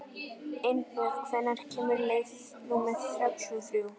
Einbjörg, hvenær kemur leið númer þrjátíu og þrjú?